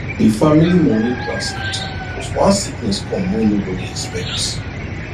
the family money plan scatter because one sickness come wey nobody expect